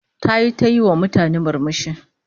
Tayi ta yiwa mutane murmushi